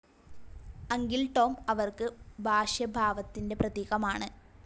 Uncle Tom അവർക്ക് ഭാഷ്യഭാവത്തിൻ്റെ പ്രതീകമാണ്.